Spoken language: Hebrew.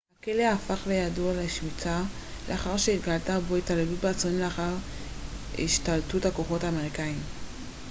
הכלא הפך לידוע לשמצה לאחר שהתגלתה בו התעללות באסירים לאחר השתלטות הכוחות האמריקאיים